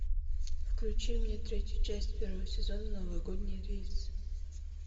включи мне третью часть первого сезона новогодний рейс